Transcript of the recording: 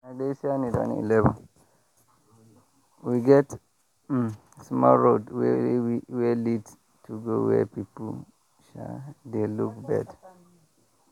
we get um small road wey lead go where people um dey look bird.